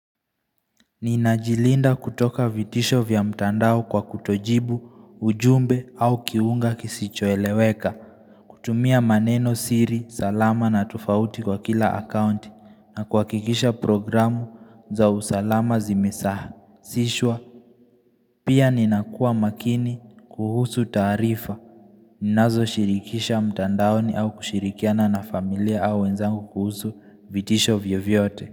Ninajilinda kutoka vitisho vya mtandao kwa kutojibu, ujumbe au kiunga kisicho eleweka. Kutumia maneno siri, salama na tofauti kwa kila akaunti na kuhakikisha programu za usalama zimesaha. Sishwa, pia ninakua makini kuhusu taarifa. Ninazo shirikisha mtandaoni au kushirikiana na familia au wenzangu kuhusu vitisho vyo vyote.